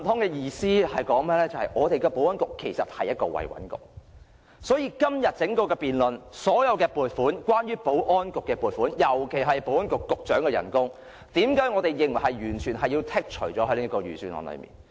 這意味着香港的保安局其實是"維穩局"，所以在今天整項的辯論中，所有關於保安局的撥款，尤其是保安局局長的薪酬，為何我們認為要在財政預算案裏完全剔除？